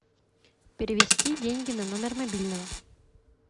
перевести деньги на номер мобильного